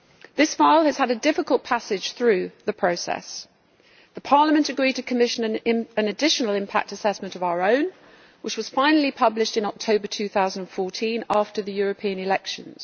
This file has had a difficult passage through the process. Parliament agreed to commission an additional impact assessment of our own, which was finally published in October 2014, after the European elections.